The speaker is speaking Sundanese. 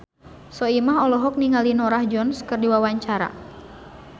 Soimah olohok ningali Norah Jones keur diwawancara